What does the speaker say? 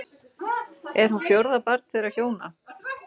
Er hún fjórða barn þeirra hjóna